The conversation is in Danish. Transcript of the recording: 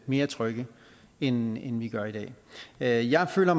mere trygge end vi gør i dag jeg jeg føler